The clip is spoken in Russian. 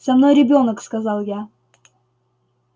со мной ребёнок сказал я